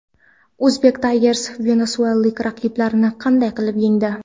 Uzbek Tigers venesuelalik raqiblarini qanday qilib yengdi?